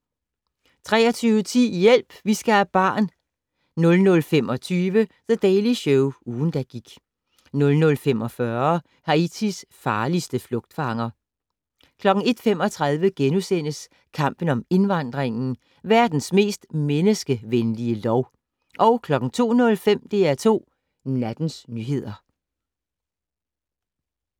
23:10: Hjælp! Vi skal have barn 00:25: The Daily Show - ugen, der gik 00:45: Haitis farligste flugtfanger 01:35: Kampen om indvandringen - "Verdens mest menneskevenlige lov" 02:05: DR2 Nattens nyheder